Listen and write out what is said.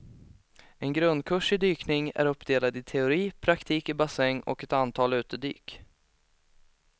En grundkurs i dykning är uppdelad i teori, praktik i bassäng och ett antal utedyk.